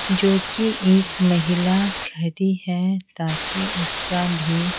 जो कि एक महिला खड़ी है ताकि उसका भी--